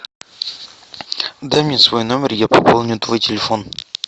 дай мне свой номер я пополню твой телефон